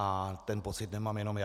A ten pocit nemám jenom já.